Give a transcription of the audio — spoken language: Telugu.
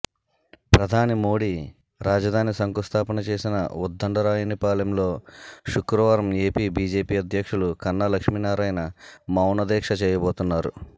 ప్రధాని మోడీ రాజధాని శంకుస్థాపన చేసిన ఉద్దండరాయునిపాలెంలో శుక్రవారం ఏపీ బీజేపీ అధ్యక్షులు కన్నా లక్ష్మీనారాయణ మౌన దీక్ష చేయబోతున్నారు